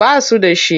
Ba su da shi.